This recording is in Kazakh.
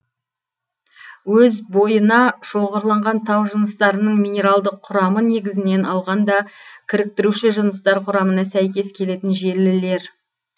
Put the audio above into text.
өз бойына шоғырланған тау жыныстарының минералдық құрамы негізінен алғанда кіріктіруші жыныстар құрамына сәйкес келетін желілер